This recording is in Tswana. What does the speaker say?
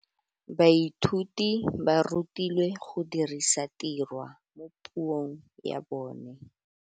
Baithuti ba rutilwe go dirisa tirwa mo puong ya bone.